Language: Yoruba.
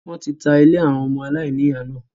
wọ́n ti ta “ ilé àwọn ọmọ aláìní ìyá ” náà.